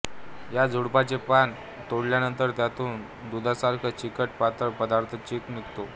या झुडपाचे पान तोडल्यानंतर त्यातून दुधासारखा चिकट पातळ पदार्थ चीक निघतो